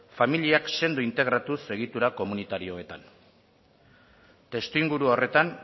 familiak sendo integratuz egitura komunitarioetan testuinguru horretan